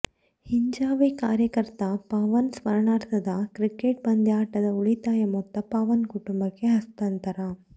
ಹಿಂಜಾವೇ ಕಾರ್ಯಕರ್ತ ಪವನ್ ಸ್ಮರಣಾರ್ಥದ ಕ್ರಿಕೆಟ್ ಪಂದ್ಯಾಟದ ಉಳಿತಾಯ ಮೊತ್ತ ಪವನ್ ಕುಟುಂಬಕ್ಕೆ ಹಸ್ತಾಂತರ